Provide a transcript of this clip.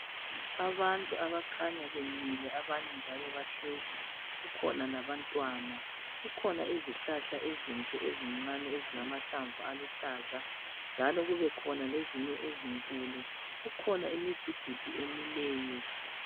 Abantu abakhanya bemile abanye njalo bahlezi . Kukhona labantwana , kukhona izihlahla ezinhle ezincane ezilamahlamvu aluhlaza njalo kube khona lezinye ezinkulu . Kukhona imidududu emileyo.